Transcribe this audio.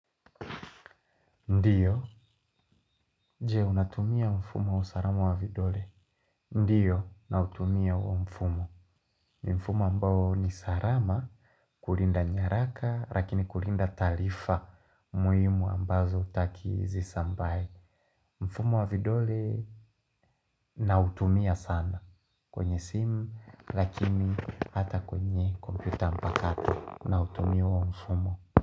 Ndiyo, je unatumia mfumo wa usalama wa vidole Ndiyo, na utumia huo mfumo ni mfumo ambao ni salama, kulinda nyaraka, lakini kulinda taarifa muhimu ambazo hutaki zisambae mfumo wa vidole nautumia sana kwenye simu, lakini hata kwenye komputa mpaka nautumia wa mfumo.